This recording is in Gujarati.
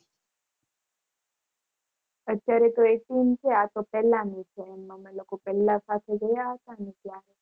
અત્યારે તો એકવીશ છે આ તો પેલાની છે એમ અમે લોકો પેલા સાથે ગયા હતા ને ત્યા